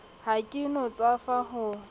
ha ke no tswafa ho